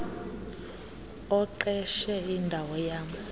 oqeshe indawo yam